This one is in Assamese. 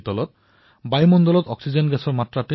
বতাহত নামমাত্ৰহে অক্সিজেন থাকে